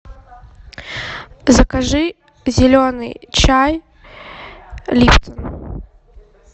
закажи зеленый чай липтон